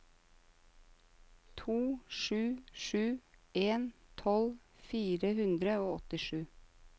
to sju sju en tolv fire hundre og åttisju